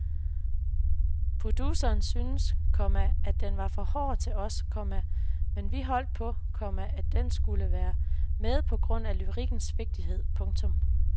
Produceren synes, komma at den var for hård til os, komma men vi holdt på, komma at den skulle med på grund af lyrikkens vigtighed. punktum